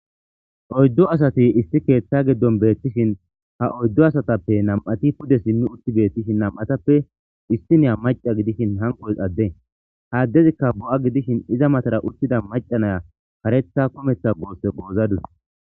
Oyddu asati isti keeththa giddon beettishin ha oyddu asatappe nam7ati pude simmi utti beettishin nam7atappe isti niya maca gidishin hankoys adde haaddezikka bo7a gidishin iza matara uttida maca naya karetha kumeththa goosse goozadus.